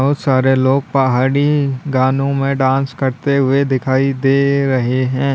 बहुत सारे लोग पहाड़ी गानों में डांस करते हुए दिखाई दे रहे हैं।